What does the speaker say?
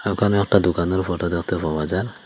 ওখানে একটা দোকানের ফটো দেখতে পাওয়া যায়।